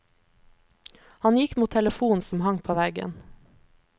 Han gikk mot telefonen som hang på veggen.